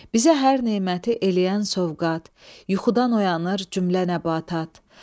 Bizə hər neməti eləyən sovqat, yuxudan oyanır cümlə nəbatat.